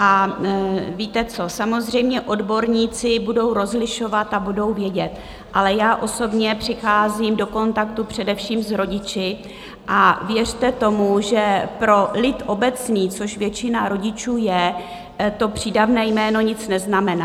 A víte co, samozřejmě odborníci budou rozlišovat a budou vědět, ale já osobně přicházím do kontaktu především s rodiči a věřte tomu, že pro lid obecný, což většina rodičů je, to přídavné jméno nic neznamená.